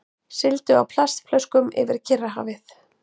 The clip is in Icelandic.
Sigldu á plastflöskum yfir Kyrrahafið